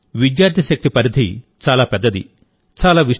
కానీ విద్యార్థి శక్తి పరిధి చాలా పెద్దది